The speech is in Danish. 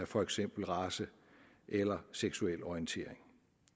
for eksempel race eller seksuel orientering